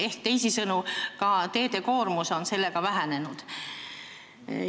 Ehk teisisõnu, ka teede koormus on sellega vähenenud.